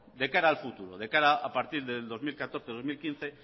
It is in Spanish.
de cara al futuro de cara a partir del dos mil catorce dos mil quince